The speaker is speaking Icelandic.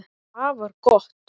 Það var gott